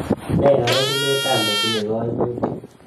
Nee arorunetap netinye kaimutik